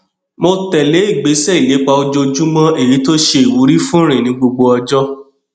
mo tẹlé ìgbésẹ ìlépa ojoojúmọ èyí tó ṣe ìwúrí fún ìrìn ní gbogbo ọjọ